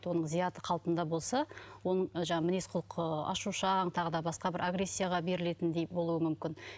оның зияты қалпында болса оның жаңағы мінез құлқы ашушаң тағы да басқа бір агрессияға берілетіндей болуы мүмкін